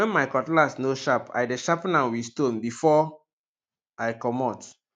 wen my cutlass no sharp i dey sharpen am wit stone before i comot